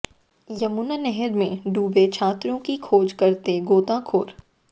यमुना नहर में डूबे छात्रों की खोज करते गोताखोर